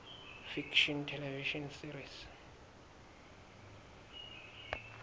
fiction television series